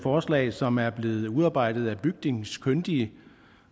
forslag som er blevet udarbejdet af bygningskyndige